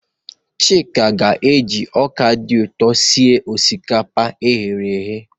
Chika ga-eji ọka dị ụtọ sie osikapa eghereghe.